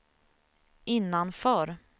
innanför